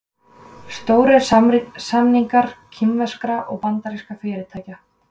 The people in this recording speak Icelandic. Stórir samningar kínverskra og bandarískra fyrirtækja